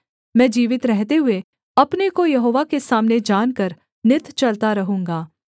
मैं जीवित रहते हुए अपने को यहोवा के सामने जानकर नित चलता रहूँगा